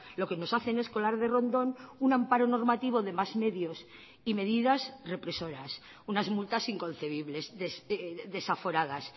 lo que nos hacen es colar de rondón un amparo normativo de más medios y medidas represoras unas multas inconcebibles desaforadas